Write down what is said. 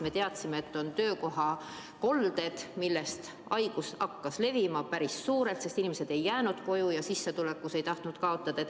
Me teadsime, et on töökohakolded, millest haigus hakkas levima, päris suured, sest inimesed ei jäänud koju ja sissetulekus ei tahetud kaotada.